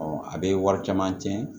a bɛ wari caman tiɲɛ